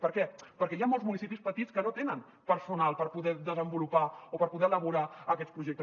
per què perquè hi ha molts municipis petits que no tenen personal per poder desenvolupar o per poder elaborar aquests projectes